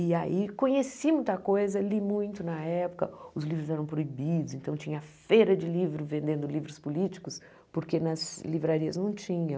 E aí conheci muita coisa, li muito na época, os livros eram proibidos, então tinha feira de livro vendendo livros políticos, porque nas livrarias não tinha.